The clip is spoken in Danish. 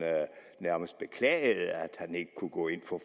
nærmest beklagede at han ikke kunne gå ind for